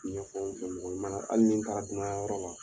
Ɲɛ fɔ mɔgɔ ɲumanyala hali n'in taara dunanya yɔrɔ la